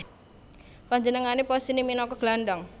Panjenengané posisiné minangka gelandang